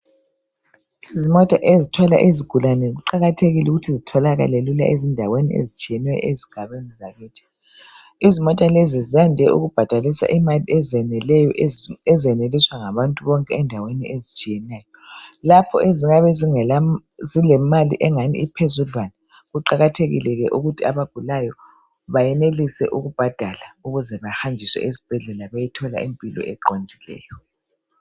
Izimota ezithwala izigulane kuqakathekile ukuthi zitholakale lula ezindaweni ezitshiyeneyo ezigabeni zakhithi. Izimota lezi zande ukubhadalisa imali ezeneleyo ezeneliswa ngabantu bonke endaweni ezitshiyeneyo. Lapho ezingabe zilemali engani iphezudlwana kuqakathekileke ukuthi abagulayo bayenelise ukubhadala ukuze bahanjiswe esibhedlela bayethola impilo eqondileyo.